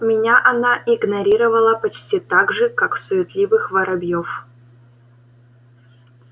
меня она игнорировала почти так же как суетливых воробьёв